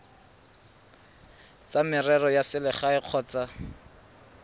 tsa merero ya selegae kgotsa